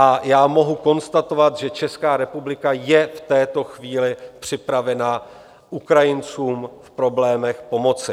A já mohu konstatovat, že České republika je v této chvíli připravena Ukrajincům v problémech pomoci.